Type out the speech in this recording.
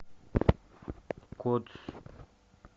кодс